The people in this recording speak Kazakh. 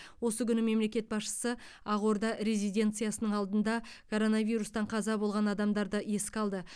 осы күні мемлекет басшысы ақорда резиденциясының алдында коронавирустан қаза болған адамдарды еске алды